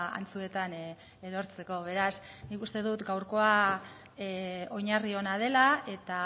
antzuetan erortzeko beraz nik uste dut gaurkoa oinarri ona dela eta